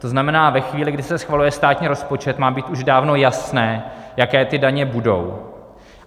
To znamená, ve chvíli, kdy se schvaluje státní rozpočet, má být už dávno jasné, jaké ty daně budou.